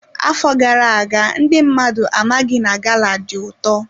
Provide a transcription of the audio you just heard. Afọ gara aga ndị mmadụ amaghị na gala dị ụtọ.